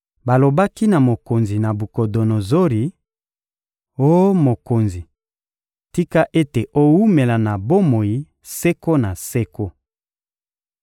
Balobaki na mokonzi Nabukodonozori: — Oh mokonzi, tika ete owumela na bomoi seko na seko!